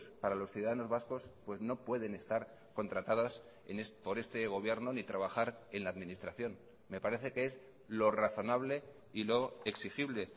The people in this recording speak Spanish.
para los ciudadanos vascos pues no pueden estar contratadas por este gobierno ni trabajar en la administración me parece que es lo razonable y lo exigible